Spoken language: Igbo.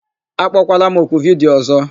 Akpọkwala m oku vidiyo ọ̀zọ́!